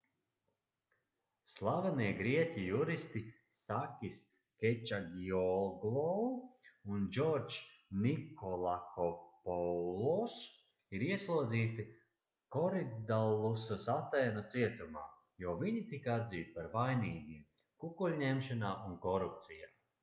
slavenie grieķu juristi sakis kečagioglou un džordžs nikolakopoulos ir ieslodzīti koridallusas atēnu cietumā jo viņi tika atzīti par vainīgiem kukuļņemšanā un korupcijā